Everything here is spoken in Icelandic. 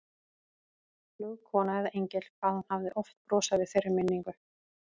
Flugkona eða engill, hvað hún hafði oft brosað við þeirri minningu.